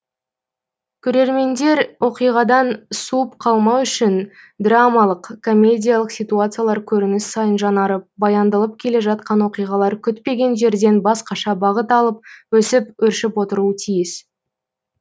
көрермендер оқиғадан суып қалмау үшін драмалық комедиялық ситуациялар көрініс сайын жаңарып баяндалып келе жатқан оқиғалар күтпеген жерден басқаша бағыт алып өсіп өршіп отыруы тиіс